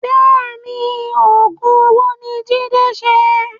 Bẹ́ẹ̀ni Oògùn owó ni Jide ṣe